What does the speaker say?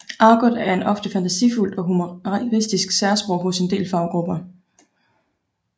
Argot er et ofte fantasifuldt og humoristisk særsprog hos en del faggrupper